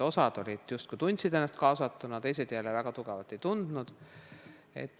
Osa justkui tundis ennast kaasatuna, teised jälle väga tugevalt ei tundnud.